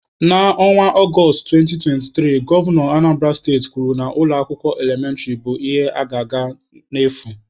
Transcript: Na Ọnwa Ọgọstụ 2023, Gọvanọ Anambara steti kwuru na ụlọ akwụkwọ elementịrị bụ ihe a ga na-agụ n'efu.